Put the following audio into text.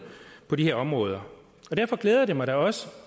på de her områder derfor glæder det mig da også